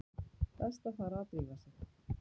Best að fara að drífa sig.